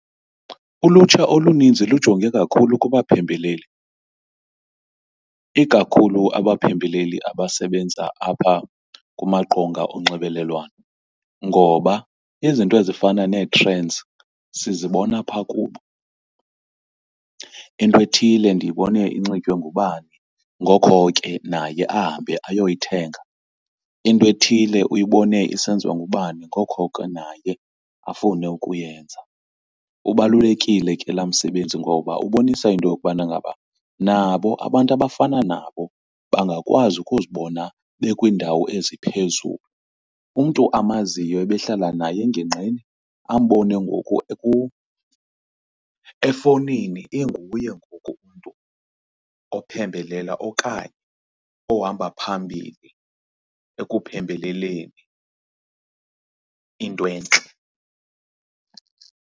Ulutsha oluninzi lujonge kakhulu kubaphembeleli, ikakhulu abaphembeleli abasebenza apha kumaqonga onxibelelwano ngoba izinto ezifana nee-trends sizibona pha kubo. Into ethile ndiyibone inxitywe ngubani, ngoko ke naye ahambe ayoyithenga. Into ethile uyibone isenziwa ngubani, ngoko ke naye afune ukuyenza. Ubalulekile ke la msebenzi ngoba ubonisa into yokubana ngaba nabo abantu abafana nabo bangakwazi ukuzibona bekwiindawo eziphezulu. Umntu amaziyo ebehlala naye engingqini ambone ngoku efowunini inguye ngoku umntu ophembelela okanye ohamba phambili ekuphembeleleni into entle.